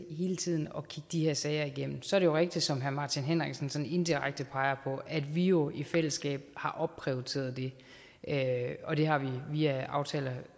hele tiden at kigge de her sager igennem så er det rigtigt som herre martin henriksen sådan indirekte peger på at vi jo i fællesskab har opprioriteret det og det har vi via aftaler